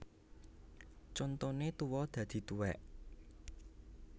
Contone tuwa dadi tuwèk